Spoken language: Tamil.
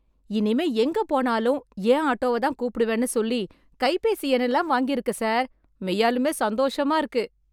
இனிமே எங்க போனாலும் என் ஆட்டோவ தான் கூப்பிடுவேன்னு சொல்லி கைபேசி எண் எல்லாம் வாங்கியிருக்க சார், மெய்யாலுமே சந்தோஷமா இருக்கு.